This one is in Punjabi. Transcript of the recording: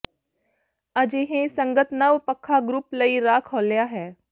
ਅਜਿਹੇ ਸੰਗਤ ਨਵ ਪੱਖਾ ਗਰੁੱਪ ਲਈ ਰਾਹ ਖੋਲ੍ਹਿਆ ਹੈ